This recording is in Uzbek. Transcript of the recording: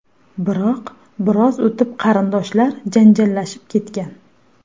Biroq biroz o‘tib qarindoshlar janjallashib ketgan.